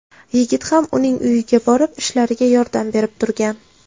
Yigit ham uning uyiga borib, ishlariga yordam berib turgan.